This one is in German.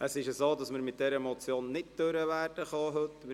Wir werden die Beratung dieser Motion heute nicht abschliessen können.